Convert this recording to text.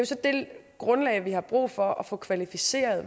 så det grundlag vi har brug for at få kvalificeret